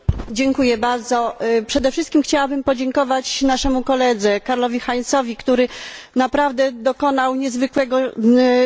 Przede wszystkim chciałabym podziękować naszemu koledze Karlowi Heizowi, który naprawdę dokonał niezwykłego zadania.